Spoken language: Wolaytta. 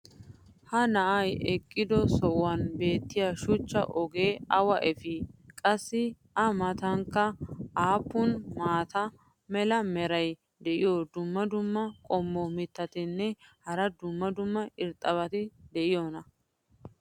ha na"ay eqqido sohuwan beetiya shuchcha ogee awa efii? qassi a matankka aappun maata mala meray diyo dumma dumma qommo mitattinne hara dumma dumma irxxabati de'iyoonaa?